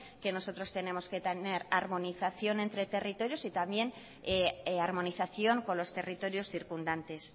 que nosotros tenemos que tener armonización entre territorios y también armonización con los territorios circundantes